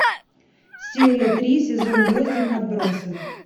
серия три сезон восемь отбросы